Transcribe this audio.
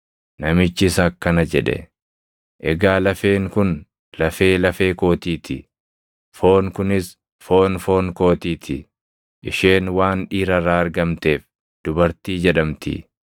Namichis akkana jedhe; “Egaa lafeen kun lafee lafee kootii ti; foon kunis foon foon kootii ti; isheen waan dhiira irraa argamteef ‘dubartii’ jedhamti.”